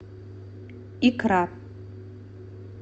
икра